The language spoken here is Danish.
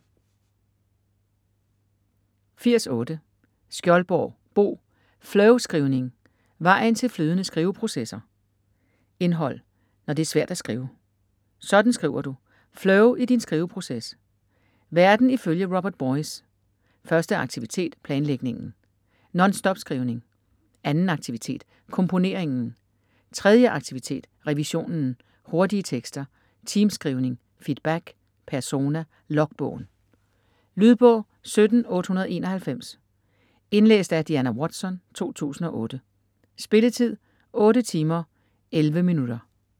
80.8 Skjoldborg, Bo: Flowskrivning: vejen til flydende skriveprocesser Indhold: Når det er svært at skrive; Sådan skriver du; Flow i din skriveproces; Verden ifølge Robert Boice; Første aktivitet : planlægningen; Nonstopskrivning; Anden aktivitet : komponeringen; Tredje aktivitet : revisionen; Hurtige tekster; Teamskrivning; Feedback; Persona; Logbogen. Lydbog 17891 Indlæst af Diana Watson, 2008. Spilletid: 8 timer, 11 minutter.